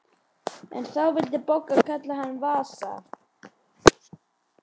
En þá vildi Bogga kalla hann Vasa.